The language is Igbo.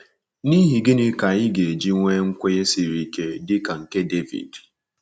N’ihi gịnị ka anyị ga-eji nwee nkwenye siri ike dị ka nke David?